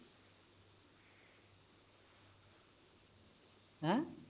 ਹੈ